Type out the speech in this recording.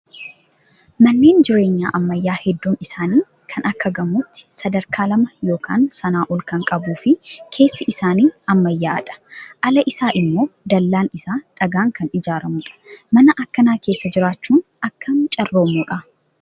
Manneen jireenyaa ammayyaa hedduun isaanii kan akka gamootti sadarkaa lama yookaan sanaa ol kan qabuu fi keessi isaa ammayyaa'aadha. Ala isaa immoo dallaan isaa dhagaan kan ijaaramudha. Mana akkanaa keessa jiraachuun akkam carroomuudha.